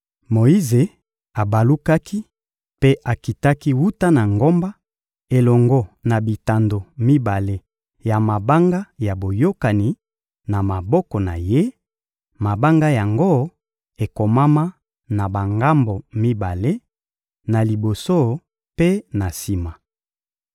Moyize abalukaki mpe akitaki wuta na ngomba, elongo na bitando mibale ya mabanga ya boyokani na maboko na ye; mabanga yango ekomama na bangambo mibale, na liboso mpe na sima.